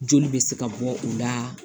Joli bɛ se ka bɔ o la